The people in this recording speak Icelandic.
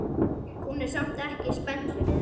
Hún er samt ekki spennt fyrir þessu.